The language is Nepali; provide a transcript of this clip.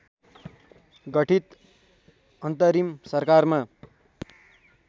गठित अन्तरिम सरकारमा